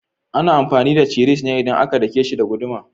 Ana amfani da cisir ne idan aka dake shi da guduma.